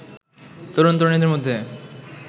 তরুন তরুনীদের মধ্যে